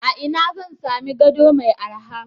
A ina zan sami gado mai araha?